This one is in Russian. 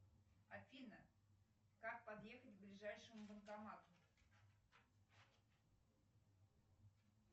афина как подъехать к ближайшему банкомату